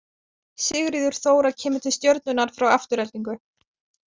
Sigríður Þóra kemur til Stjörnunnar frá Aftureldingu.